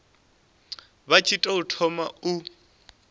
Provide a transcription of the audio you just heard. vha tshi tou thoma u